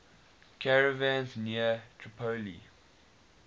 caravans near tripoli